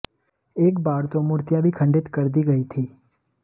एक बार तो मूर्तियां भी खंडित कर दी गई थीं